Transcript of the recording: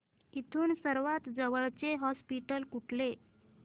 इथून सर्वांत जवळचे हॉस्पिटल कुठले